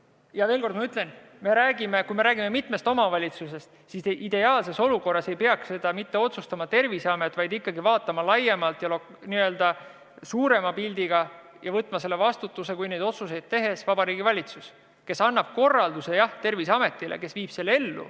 Ja ma veel kord ütlen, et kui räägime mitmest omavalitsusest, siis ideaalses olukorras ei peaks otsustama mitte Terviseamet, vaid tuleb vaadata ikkagi laiemalt ja n-ö suuremat pilti ning neid otsuseid tehes tuleb vastutus võtta Vabariigi Valitsusel, kes annab Terviseametile korralduse, mille amet viib ellu.